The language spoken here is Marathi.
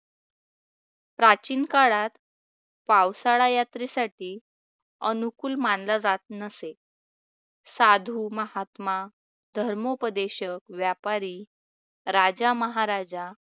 विशेष प्राचीन काळात पावसाळा यात्रेसाठी अनुकूल मानल जात नसे. साधु महात्मा धर्मोपदेशक व्यापारी राजा महाराजा